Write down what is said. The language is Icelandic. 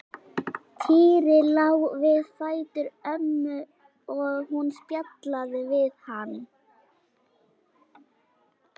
Týri lá við fætur ömmu og hún spjallaði við hann.